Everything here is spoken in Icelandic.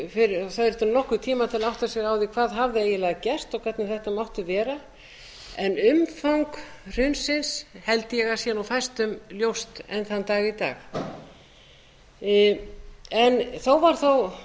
það þurfti nokkurn tíma til að átta sig á því hvað hafði eiginlega gerst og hvernig þetta mátti vera en umfang hrunsins held ég að sé fæstum ljóst enn þann dag í dag þó var það